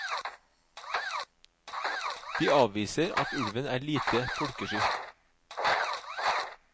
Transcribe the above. De avviser at ulven er lite folkesky.